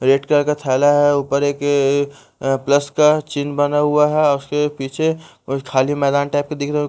Red colour का थैला है ऊपर एक प्लस का चिन्ह बना हुआ है उसके पीछे कुछ खाली मैदान टाइप का दिख रहा है।